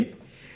మరే సర్